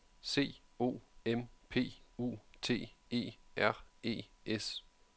C O M P U T E R E S